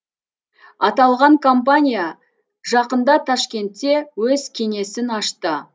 аталған компания жақында ташкентте өз кеңесін ашты